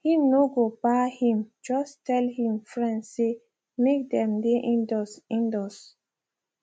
him no go bar him just tell him friends say make them dey indoors indoors